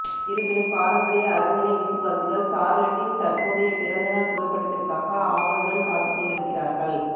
இருப்பினும் பாரம்பரிய அரண்மனை விசுவாசிகள் சார்லட்டின் தற்போதைய பிறந்த நாள் புகைப்படத்திற்காக ஆவலுடன் காத்துக் கொண்டிருக்கிறார்கள்